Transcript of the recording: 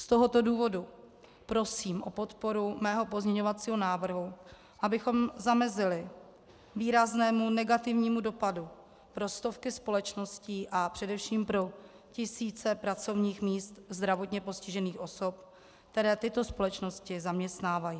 Z tohoto důvodu prosím o podporu mého pozměňovacího návrhu, abychom zamezili výraznému negativnímu dopadu pro stovky společností a především pro tisíce pracovních míst zdravotně postižených osob, které tyto společnosti zaměstnávají.